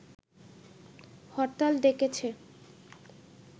হরতাল ডেকেছে